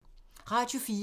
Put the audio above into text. Radio 4